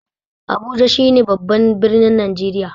Abuja shine babban birnin Najeriya.